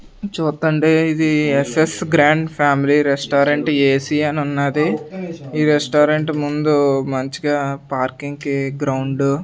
చూత్తంటే ఇది S S grand family restaurant A C అనున్నాది. ఈ రెస్టారెంట్ ముందు మంచిగా పార్కింగ్ కి గ్రౌండు --